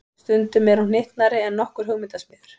Stundum er hún hnyttnari en nokkur hugmyndasmiður.